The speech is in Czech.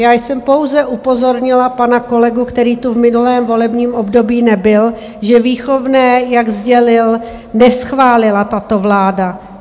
Já jsem pouze upozornila pana kolegu, který tu v minulém volebním období nebyl, že výchovné, jak sdělil, neschválila tato vláda.